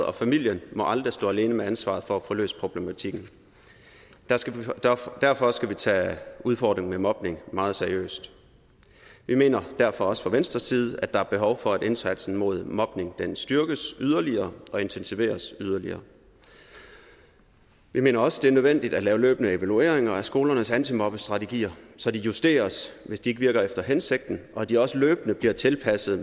og familien må aldrig stå alene med ansvaret for at få løst problematikken derfor skal vi tage udfordringen med mobning meget seriøst vi mener derfor også fra venstre side at der er behov for at indsatsen mod mobning styrkes yderligere og intensiveres yderligere vi mener også at det er nødvendigt at lave løbende evalueringer af skolernes antimobbestrategier så de justeres hvis de ikke virker efter hensigten og så de også løbende bliver tilpasset